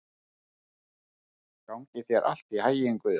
Gangi þér allt í haginn, Guðjón.